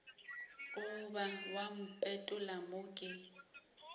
goba wa mpetolla mo ke